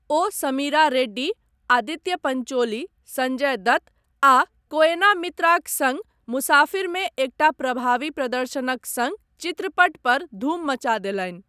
ओ समीरा रेड्डी, आदित्य पंचोली, संजय दत्त आ कोएना मित्राक सङ्ग मुसाफिरमे एकटा प्रभावी प्रदर्शनक सङ्ग चित्रपट पर धूम मचा देलनि।